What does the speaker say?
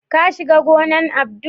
ka shiga gonan Abdul?